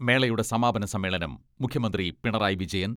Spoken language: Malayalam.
മേളയുടെ സമാപന സമ്മേളനം മുഖ്യമന്ത്രി പിണറായി വിജയൻ